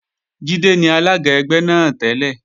Jídé ni alága ẹgbẹ́ náà tẹ́lẹ̀